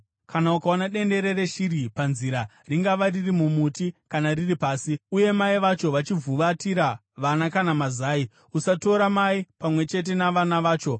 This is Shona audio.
Kana ukaona dendere reshiri panzira, ringava riri mumuti kana riri pasi, uye mai vacho vachivhuvatira vana kana mazai, usatora mai pamwe chete navana vacho.